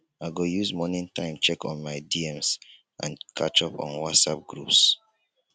i go use morning time check my dms and catch up on whatsapp groups